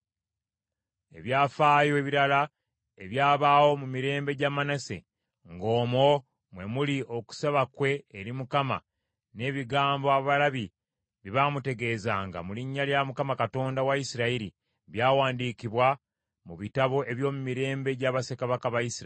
Ebyafaayo ebirala ebyabaawo mu mirembe gya Manase, ng’omwo mwe muli okusaba kwe eri Mukama n’ebigambo abalabi bye baamutegeezanga mu linnya lya Mukama Katonda wa Isirayiri, byawandiikibwa mu bitabo eby’omu mirembe gya bassekabaka ba Isirayiri.